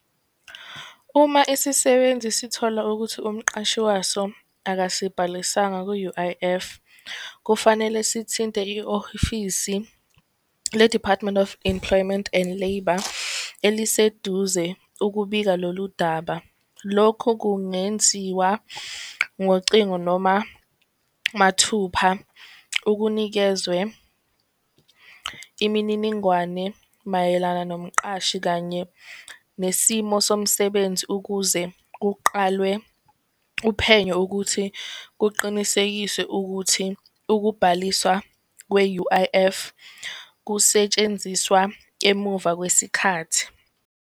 Uma isisebenzi sithola ukuthi umqashi waso akasibhalisanga ku-U_I_F kufanele sithinte le-Department of Employment and Labour eliseduze ukubika loludaba. Lokhu kungenziwa ngocingo noma mathupha ukunikezwe imininingwane mayelana nomqashi kanye nesimo somsebenzi ukuze kuqalwe uphenyo ukuthi kuqinisekiswe ukuthi ukubhaliswa kwe-U_I_F kusetshenziswa emuva kwesikhathi.